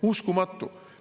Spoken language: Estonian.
Uskumatu!